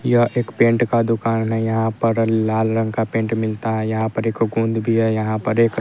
यह एक पेंट का दुकान है यहाँ पर लाल रंग का पेंट मिलता है यहाँ पर एक गोंद भी है यहाँ पर एक --